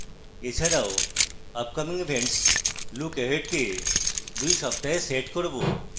এছাড়াও upcoming events lookahead কে 2 সপ্তাহে set করব